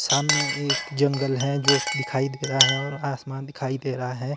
सामने एक जंगल है जो दिखाई दे रहा है और आसमान दिखाई दे रहा है।